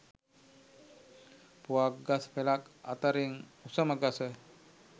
පුවක්‌ ගස්‌ පෙළක්‌ අතරින් උසම ගස